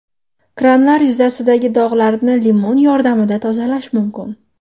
Kranlar yuzasidagi dog‘larni limon yordamida tozalash mumkin.